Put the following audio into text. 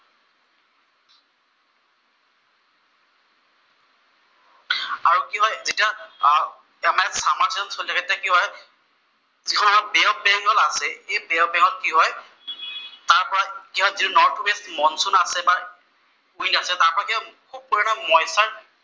আৰু কি হয়, ইয়াত যেতিয়া চামাৰ চিজন চলি থাকে তেতিয়া কি হয়, যিটো আমাৰ আছে, সেই ত কি হয় তাৰ পৰা কি হয় যিটো নৰ্থ ৱেষ্ট মনচুন আছে বা উইণ্ড আছে তাৰ পৰা কি হয় খুব পৰিমাণে মইচটৰ